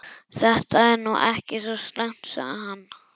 Þetta er nú ekki svo slæmt sagði hann.